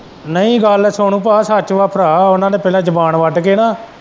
ਨਹੀਂ ਗੱਲ ਸੁਣ ਭਾਅ ਸੱਚ ਵਾਂ ਭਰਾ ਉਹਨਾਂ ਨੇ ਪਹਿਲ਼ੇ ਜ਼ੁਬਾਨ ਵੱਡ ਕੇ ਨਾ।